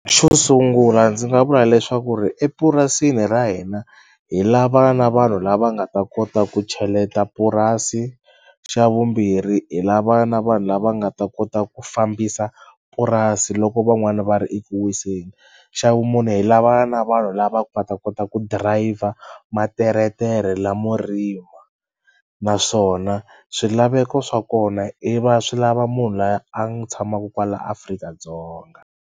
Xo sungula ndzi nga vula leswaku ri epurasini ra hina hi lava na vanhu lava nga ta kota ku cheleta purasi xa vumbirhi hi lava na vanhu lava nga ta kota ku fambisa purasi loko van'wana va ri eku wiseni xa vumune hi lava na vanhu lava nga ta kota ku driver materetere lamo rima naswona swilaveko swa kona i va swi lava munhu la ya a tshamaku kwala Afrika-Dzonga.